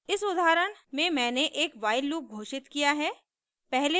इस उदाहरण में मैंने एक while लूप घोषित किया है